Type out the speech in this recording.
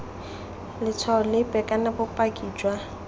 letshwao lepe kana bopaki jwa